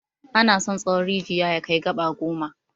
Ana son tsawon rijiya ya kai gaba goma.